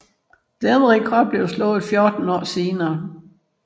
Denne rekord blev først slået 14 år senere